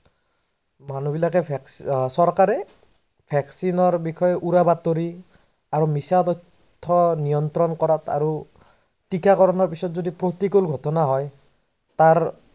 মানুহ বিলাকে, চৰকাৰে vaccine ৰ বিষয়ে উৰাবাতৰি আৰউ মিচা তথ্য নিয়ন্ত্ৰন কৰাত আৰু টিকাকৰনৰ পাছত যদি পৰ্তিকৰ ঘটনা হয় তাৰ